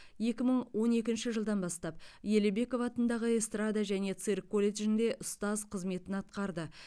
екі мың он екінші жылдан бастап елебеков атындағы эстрада және цирк колледжінде ұстаз қызметін атқарды